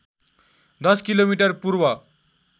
१० kilometre पूर्व